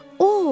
O!